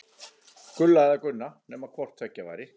Gulla eða Gunna, nema hvort tveggja væri.